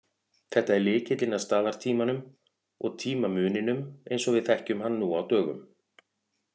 Þetta er lykillinn að staðartímanum og tímamuninum eins og við þekkjum hann nú á dögum.